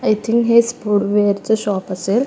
I think हे sport वेयरच shop असेल.